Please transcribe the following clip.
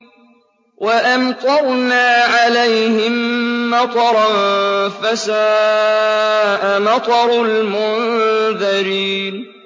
وَأَمْطَرْنَا عَلَيْهِم مَّطَرًا ۖ فَسَاءَ مَطَرُ الْمُنذَرِينَ